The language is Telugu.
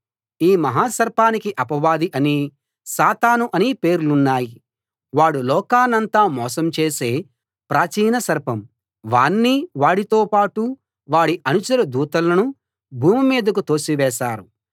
ఈ మహా సర్పానికి అపవాది అనీ సాతాను అనీ పేర్లున్నాయి వాడు లోకాన్నంతా మోసం చేసే ప్రాచీన సర్పం వాణ్ణీ వాడితో పాటు వాడి అనుచర దూతలనూ భూమి మీదికి తోసి వేశారు